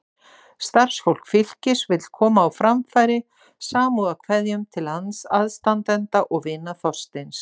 Starfsfólk Fylkis vill koma á framfæri samúðarkveðjum til aðstandenda og vina Þorsteins.